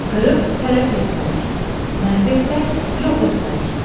Qırıb tələf etmək, məhv etmək, yox etmək.